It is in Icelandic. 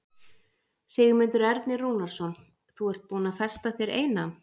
Sigmundur Ernir Rúnarsson: Þú ert búin að festa þér eina?